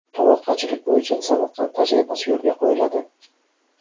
Tomorqachilik bo‘yicha Samarqand tajribasi yo‘lga qo‘yiladi.